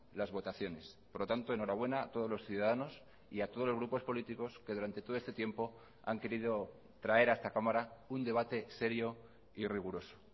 las votaciones por lo tanto enhorabuena a todos los ciudadanos y a todos los grupos políticos que durante todo este tiempo han querido traer a esta cámara un debate serio y riguroso